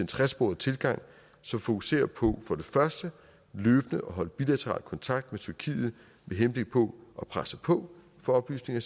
tresporet tilgang som fokuserer på for det første løbende at holde bilateral kontakt med tyrkiet med henblik på at presse på for oplysninger